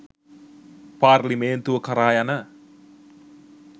පාර්ලිමේන්තුව කරා යන